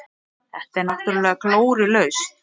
Þetta er náttúrulega glórulaust.